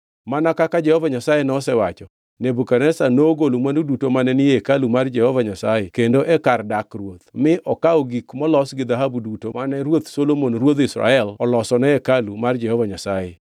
Mana kaka Jehova Nyasaye nosewacho, Nebukadneza nogolo mwandu duto mane ni e hekalu mar Jehova Nyasaye kendo e kar dak ruoth, mi okawo gik molos gi dhahabu duto mane ruoth Solomon ruodh Israel olosone hekalu mar Jehova Nyasaye.